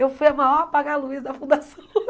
Eu fui a maior apaga luz da Fundação